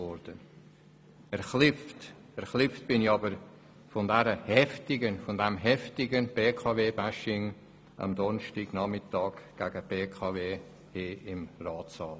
Erschreckt hat mich jedoch das heftige BKWBashing, welches am letzten Donnerstag hier im Ratssaal stattgefunden hat.